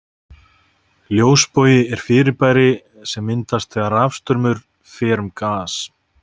Ljósbogi er fyrirbæri sem myndast þegar rafstraumur fer um gas.